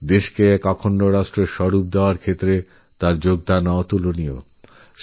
আমাদের দেশকে একটা অখণ্ড রূপ দেওয়ায়তাঁর অবদান অবিস্মরণীয়